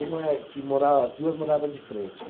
Uma é que mora, as duas morava de frente.